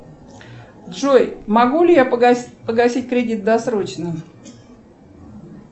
джой могу ли я погасить кредит досрочно